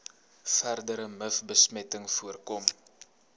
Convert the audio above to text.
verdere mivbesmetting voorkom